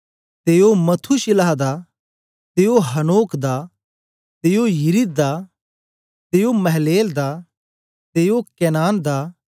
ते ओ मथूशिलह दा ते ओ हनोक दा ते ओ यिरिद दा ते ओ महललेल दा ते ओ केनान दा